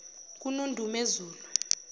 kunondumezulu